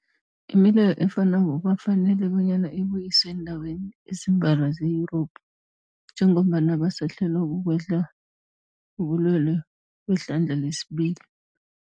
Imileyo efanako kwafanela bonyana ibuyiswe eendaweni ezimbalwa ze-Yurophu njengombana basahlelwa kukwehla kobulwele kwehlandla lesibili.